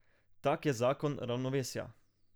Tak je zakon ravnovesja.